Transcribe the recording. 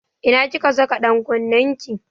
Ina kika saka ɗan kunnen ki?